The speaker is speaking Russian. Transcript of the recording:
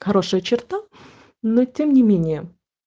хорошая черта но тем не менее